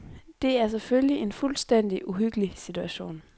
Det er selvfølgelig en fuldstændig uhyggelig situation.